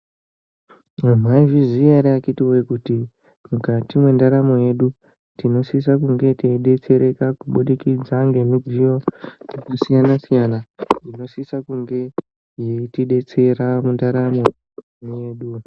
Eee maizviziya ehe vakiti kuti mukati mwendaramo yedu tinosisa kunge teidetsereka kubudikidza ngemidziyoo yakasiyana -siyana, inosisa kunge yeitidetsera mundaramo yeduu-u.